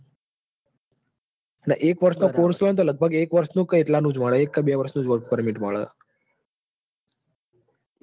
એટલે એક વર્ષ નો course હોય તો લગભગ એક વર્ષ નું કે મળે એક કે બે વર્ષ નું જ work permit મળે.